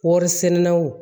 Warisɛnɛlaw